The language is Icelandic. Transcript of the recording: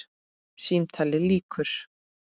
Símtali lýkur.